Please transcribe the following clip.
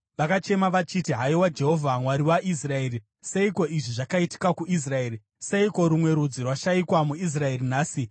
Vakachema vachiti, “Haiwa Jehovha, Mwari waIsraeri, seiko izvi zvakaitika kuIsraeri? Seiko rumwe rudzi rwashayikwa muIsraeri nhasi?”